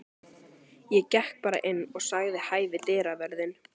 Ég gekk bara inn og sagði hæ við dyravörðinn.